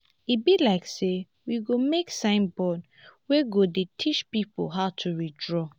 e be like say we go make sign board wey go dey teach people how to withdraw